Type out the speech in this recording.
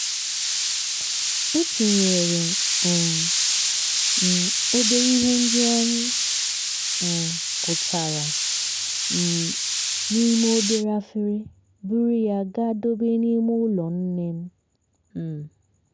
e tinyere um m obere ihe ndị anyị um kụtara um n'ime obere efere buru ya gaa dobe n'ime ụlọ nne m. m.